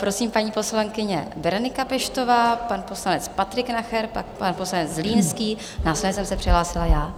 Prosím, paní poslankyně Berenika Peštová, pan poslanec Patrik Nacher, pak pan poslanec Zlínský, následně jsem se přihlásila já.